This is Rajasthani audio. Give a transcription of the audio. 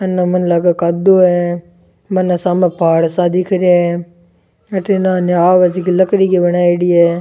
आने मैंने लाग कादो है बनने सामने पहाड़ सा दिख रहा है अठन आ नाव जीकी लकड़ी की बनायेडी है।